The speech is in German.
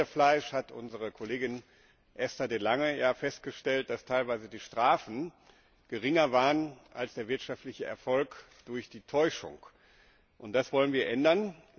Beim Pferdefleisch hat unsere Kollegin Esther de Lange ja festgestellt, dass teilweise die Strafen geringer waren als der wirtschaftliche Erfolg durch die Täuschung. Das wollen wir ändern.